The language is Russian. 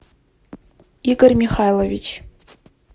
игорь михайлович